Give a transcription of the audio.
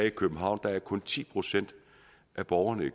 i københavn er der kun ti procent af borgerne